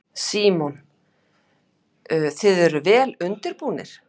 Símon: Þið eruð vel undirbúnir?